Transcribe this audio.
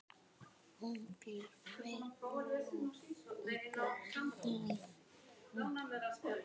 Hún býr núna í Berlín.